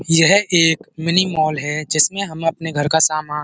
यह एक mini mall है जिसमें हम अपने घर का सामान --